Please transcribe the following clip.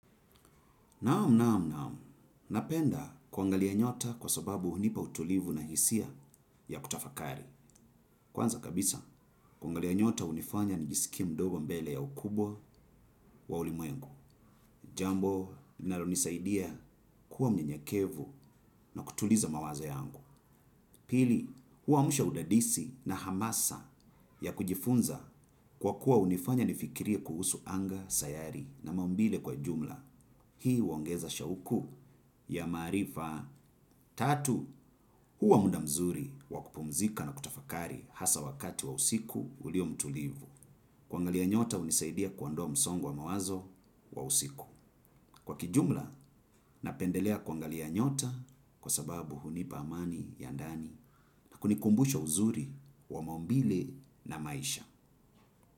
Naam, naam, naam. Napenda kuangalia nyota kwa sababu hunipa utulivu na hisia ya kutafakari. Kwanza kabisa, kuangalia nyota hunifanya nijisikie mdogo mbele ya ukubwa wa ulimwengu. Jambo, linalonisaidia kuwa mnyenyekevu na kutuliza mawazo yangu. Pili, huamsha udadisi na hamasa ya kujifunza kwa kuwa hunifanya nifikirie kuhusu anga, sayari na maumbile kwa jumla. Hii huongeza shauku ya maarifa tatu huwa muda mzuri wa kupumzika na kutafakari hasa wakati wa usiku ulio mtulivu. Kuangalia nyota hunisaidia kuondoa msongo wa mawazo wa usiku. Kwa kijumla napendelea kuangalia nyota kwa sababu hunipa amani ya ndani na kunikumbusha uzuri wa maumbile na maisha.